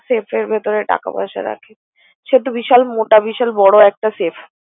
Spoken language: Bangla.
safe এর ভেতরে টাকা পয়সা রাখে, সে তো বিশাল মোটা বিশাল বড় একটা safe ।